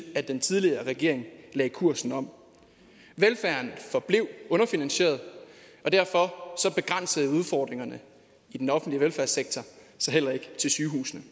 at den tidligere regering lagde kursen om velfærden forblev underfinansieret og derfor begrænsede udfordringerne i den offentlige velfærdssektor sig heller ikke til sygehusene